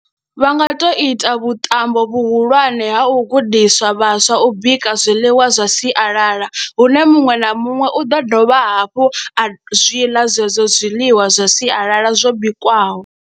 Vha nga to ita vhuṱambo vhuhulwane ha u gudiswa vhaswa u bika zwiḽiwa zwa sialala hune muṅwe na muṅwe u ḓo dovha hafhu a zwi ḽa zwezwo zwiḽiwa zwa sialala zwo bikwaho.